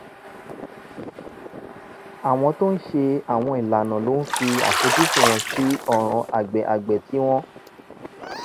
àwọn tó ń ṣe àwọn ìlànà ló ń fi àfojúsùn wọn sí ọ̀ràn àgbẹ̀ àgbẹ̀ tí wọn